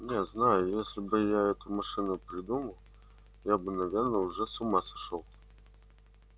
не знаю если бы я эту машину придумал я бы наверное уже с ума сошёл